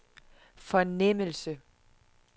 fornemmelse